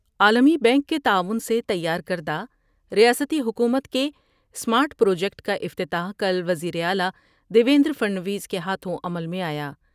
عالمی بینک کے تعاون سے تیار کردہ ریاستی حکومت کے اسمارٹ پروجیکٹ کا افتتاح کل وزیراعلی دیویندر پھڑنویس کے ہاتھوں عمل میں آیا ۔